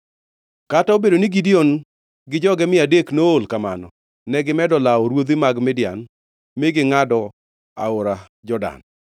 Kata obedo ni Gideon gi joge mia adek nool kamano, negimedo lawo ruodhi mag Midian mi gingʼado aora Jordan.